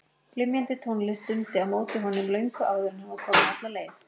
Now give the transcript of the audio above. Glymjandi tónlist dundi á móti honum löngu áður en hann var kominn alla leið.